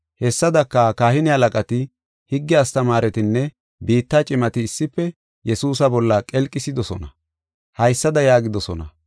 Hessadaka, kahine halaqati, higge astamaaretinne biitta cimati issife Yesuusa bolla qelqisidosona. Haysada yaagidosona: